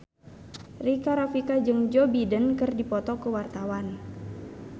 Rika Rafika jeung Joe Biden keur dipoto ku wartawan